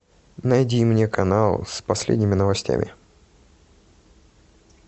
найди мне канал с последними новостями